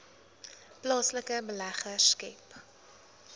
plaaslike beleggers skep